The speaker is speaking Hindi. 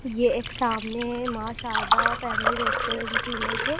ये एक सामने मां शारदा फैमिली रेस्टोरेंट की इमेज है।